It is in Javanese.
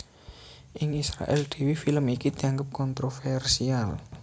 Ing Israèl dhéwé film iki dianggep kontrovèrsial